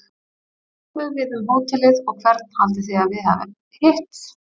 Svo löbbuðu við um hótelið og hvern haldið þið að við hafi hitt?